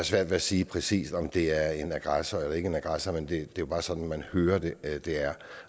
svært ved at sige præcis om de er en aggressor eller ikke en aggressor men det er jo bare sådan man hører det er det er